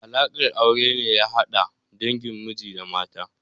Alaƙar aure ne ya hada dangin miji da na mata.